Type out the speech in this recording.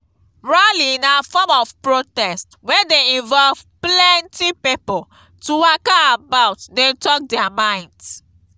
rally na form of protest wey de involve plenty pipo to waka about de talk their mind